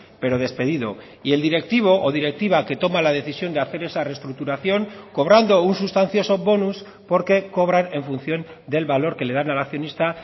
pero despedido y el directivo o directiva que toma la decisión de hacer esa restructuración cobrando un sustancioso bonus porque cobran en función del valor que le dan al accionista